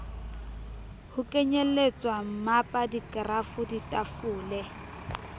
ho kenyelletswa mmapa dikerafo ditafole